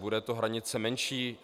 Bude to hranice menší?